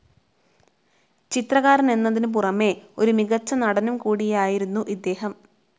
ചിത്രകാരനെന്നതിനുപുറമേ ഒരു മികച്ച നടനും കൂടിയായിരുന്നു ഇദ്ദേഹം.